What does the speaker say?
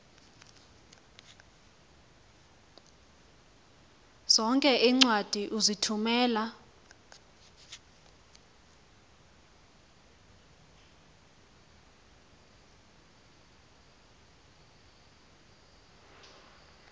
zonke iincwadi ozithumela